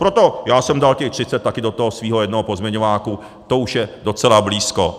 Proto jsem dal těch 30 % taky do toho svého jednoho pozměňováku, to už je docela blízko.